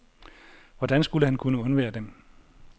Hvordan skulle han kunne undvære den?